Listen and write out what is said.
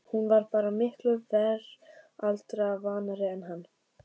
Hún var bara miklu veraldarvanari en hann.